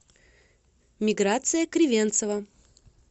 миграция кривенцева